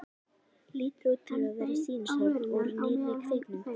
Lítur út fyrir að vera sýnishorn úr nýrri kvikmynd.